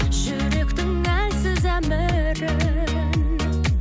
жүректің әлсіз әмірін